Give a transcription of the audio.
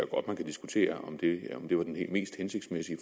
godt man kan diskutere om det var den mest hensigtsmæssige